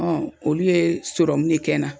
Ɔ olu ye sɔrɔmu de kɛ n na.